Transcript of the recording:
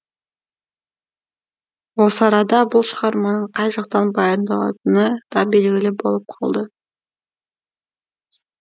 осы арада бұл шығарманың қай жақтан баяндалатыны да белгілі болып қалды